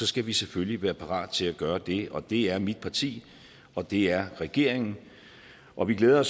skal vi selvfølgelig være parat til at gøre det og det er mit parti og det er regeringen og vi glæder